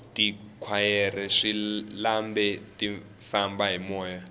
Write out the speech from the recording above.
tikhwayere swilambe ti famba hi moya